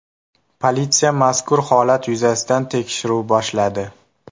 Politsiya mazkur holat yuzasidan tekshiruv boshladi.